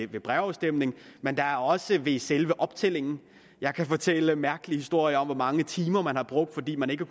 ved brevafstemning men der er også problemer ved selve optællingen jeg kan fortælle mærkelige historier om hvor mange timer man har brugt fordi man ikke